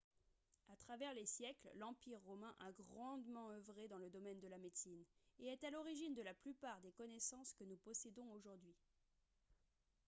à travers les siècles l'empire romain a grandement œuvré dans le domaine de la médecine et est à l'origine de la plupart des connaissances que nous possédons aujourd'hui